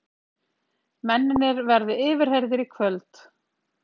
Mennirnir verði yfirheyrðir í kvöld